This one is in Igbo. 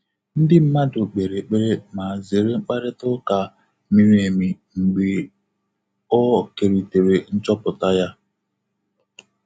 Ndị́ mmàdụ̀ kpèrè ékpèré mà zéré mkpàrị́tà ụ́ká mìrí émí mgbè ọ́ kèrìtèrè nchọ́pụ́tà yá.